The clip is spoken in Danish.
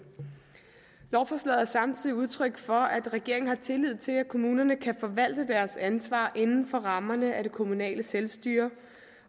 lovforslaget er samtidig udtryk for at regeringen har tillid til at kommunerne kan forvalte deres ansvar inden for rammerne af det kommunale selvstyre